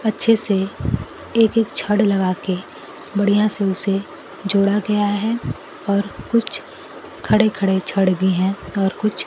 अच्छे से एक एक छड लगाके बढ़िया से उसे जोड़ा गया है और कुछ खड़े खड़े छड भी हैं और कुछ--